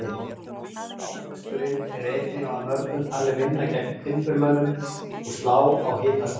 Ávöxturinn er einnig af mörgum talinn vinna gegn timburmönnum og slá á hitasótt.